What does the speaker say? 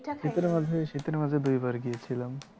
পিঠা খাইলেন? শীতের মাঝে শীতের মাঝে দুইবার গিয়েছিলাম ।